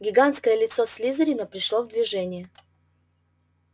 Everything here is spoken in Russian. гигантское лицо слизерина пришло в движение